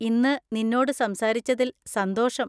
ഇന്ന് നിന്നോട് സംസാരിച്ചതിൽ സന്തോഷം.